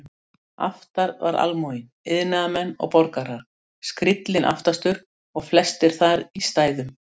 Aftar var almúginn, iðnaðarmenn og borgarar, skríllinn aftastur og flestir þar í stæðum.